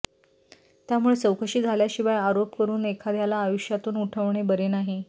त्यामुळे चौकशी झाल्याशिवाय आरोप करून एखाद्याला आयुष्यातून उठवणे बरे नाही